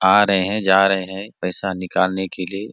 आ रहै है जा रहै है पैसा निकालने के लिए --